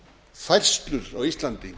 færslur á íslandi